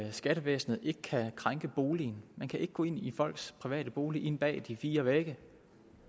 at skattevæsenet ikke kan krænke boligen de kan ikke gå ind i folks private bolig ind bag de fire vægge de